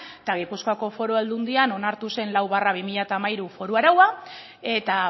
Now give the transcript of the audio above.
eta gipuzkoako foru aldundian onartu zen lau barra bi mila hamairu foru araua eta